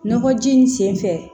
Nɔgɔji nin sen fɛ